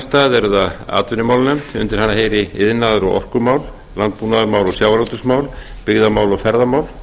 fleiri önnur atvinnumálanefnd undir hana heyri iðnaðar og orkumál landbúnaðarmál og sjávarútvegsmál byggðamál og ferðamál